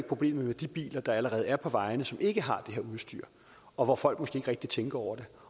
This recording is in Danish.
problemet med de biler der allerede er på vejene som ikke har det udstyr og hvor folk måske ikke rigtig tænker over det